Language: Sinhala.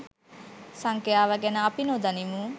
සංඛ්‍යාව ගැන අපි නොදනිමු